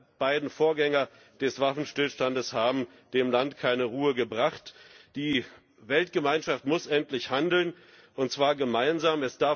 Die beiden Vorgänger des Waffenstillstands haben dem Land keine Ruhe gebracht, die Weltgemeinschaft muss endlich handeln, und zwar gemeinsam!